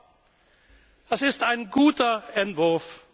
aus. Es ist ein guter